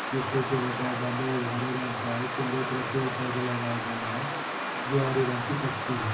जो खुटे में बंध गाये वो भूरे रंग का है चगरो तरफ पेड़ पौधे लगाए गए है जो हरे रंग की पति है|